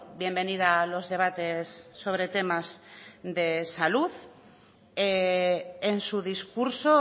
bienvenida a los debates sobre temas de salud en su discurso